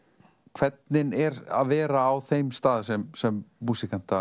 hvernig er að vera á þeim stað sem sem